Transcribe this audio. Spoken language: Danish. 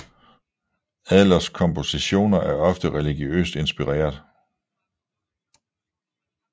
Adlers kompositioner er ofte religiøst inspireret